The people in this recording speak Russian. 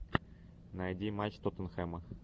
найди матч тоттенхэма